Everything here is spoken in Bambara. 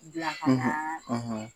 K'u bila ka na